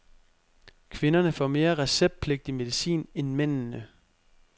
Kvinderne får mere receptpligtig medicin end mændene.